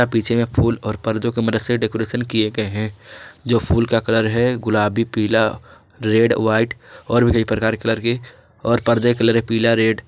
पीछे में फूल और पर्दों के मदद से डेकोरेशन किए गए हैं जो फूल का कलर है गुलाबी पीला रेड व्हाइट और भी कई प्रकार कलर के और पर्दे कलर पीला रेड--